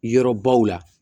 Yɔrɔbaw la